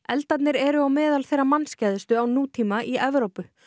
eldarnir eru meðal þeirra á nútíma í Evrópu